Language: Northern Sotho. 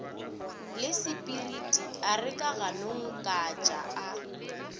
lasepiriti a re kaganongkatšaa a